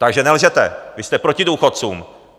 Takže nelžete, vy jste proti důchodcům!